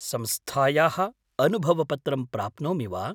संस्थायाः अनुभवपत्रं प्राप्नोमि वा?